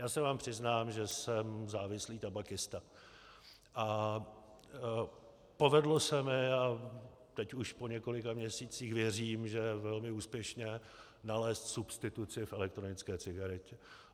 Já se vám přiznám, že jsem závislý tabakista, a povedlo se mi, a teď už po několika měsících věřím, že velmi úspěšně, nalézt substituci v elektronické cigaretě.